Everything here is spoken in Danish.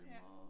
Ja